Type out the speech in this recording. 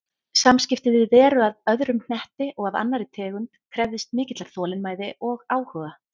Samskipti við veru af öðrum hnetti og af annarri tegund krefðist mikillar þolinmæði og áhuga.